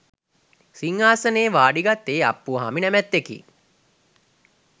සිංහාසනයේ වාඩිගත්තේ අප්පුහාමි නැමැත්තෙකි.